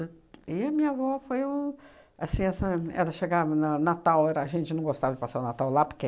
Né? E a minha avó foi um, assim sabe, ela chegava na Natal, era a gente não gostava de passar o Natal lá porque